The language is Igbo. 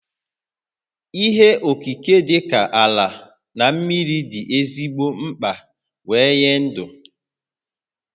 Ihe okike dịka ala na mmiri dị ezigbo mkpa wee nye dụ